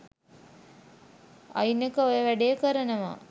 අයිනක ඔය වැඩේ කරනවා.